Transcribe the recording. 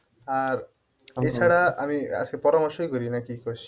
এছাড়া আমি আজকে পরামর্শই করি নাকি কি কস?